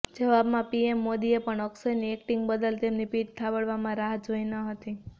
જવાબમાં પીએમ મોદીએ પણ અક્ષયની એક્ટિંગ બદલ તેમની પીઠ થાબડમાં રાહ જોઈ ન હતી